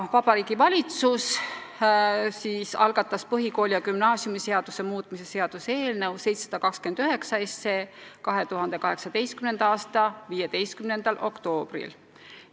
Vabariigi Valitsus algatas põhikooli- ja gümnaasiumiseaduse muutmise seaduse eelnõu 729 2018. aasta 15. oktoobril.